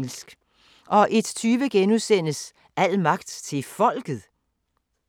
01:20: Al magt til folket? *